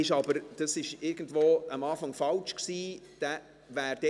Dieser war anfangs irgendwie falsch zugeordnet.